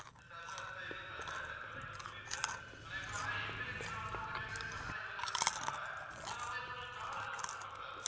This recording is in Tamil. sir sir sir இல்ல sir correct தான் sir எங்களுக்கு புரியுது sir ஆனா இப்போ ஆனா எங்களுக்கு இன்னும் வந்து உங்க delivery பண்ணாதா எங்களுக்கு இன்னும் update ஆகலை sir அவங்க ஏதும் உங்களுக்கு call எதுவும் பண்ணாங்களா sir